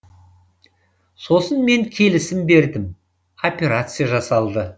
сосын мен келісім бердім операция жасалды